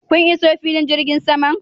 Kun iso filin jirgin saman?